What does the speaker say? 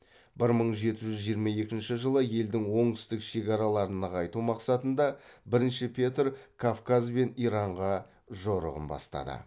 бір мың жеті жүз жиырма екінші жылы елдің оңтүстік шекараларын нығайту мақсатында бірінші петр кавказ бен иранға жорығын бастады